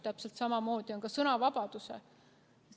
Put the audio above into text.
Täpselt samamoodi on ka sõnavabadusega.